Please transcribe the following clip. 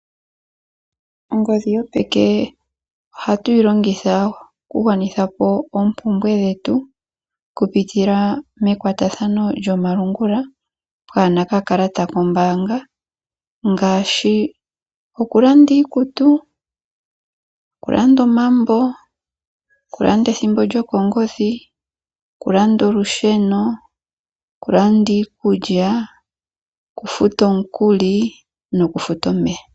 Ongodhi yopeke ohatuyi longitha okugwanitha po oompumbwe dhetu okupitila mekwatathano lyomalungula kaapuna okakalata koombanga ngaashi okulanda iikutu, omambo, ethimbo lyokongodhi, olusheno, iikulya ,okufuta omukuli nokufuta omeya.